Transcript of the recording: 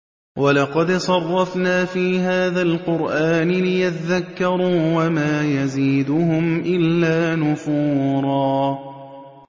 وَلَقَدْ صَرَّفْنَا فِي هَٰذَا الْقُرْآنِ لِيَذَّكَّرُوا وَمَا يَزِيدُهُمْ إِلَّا نُفُورًا